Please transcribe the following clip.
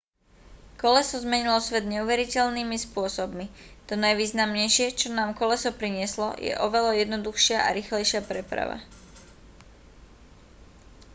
koleso zmenilo svet neuveriteľnými spôsobmi to najvýznamnejšie čo nám koleso prinieslo je oveľa jednoduchšia a rýchlejšia preprava